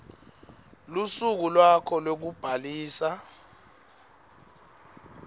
lusuku lwakho lwekubhalisa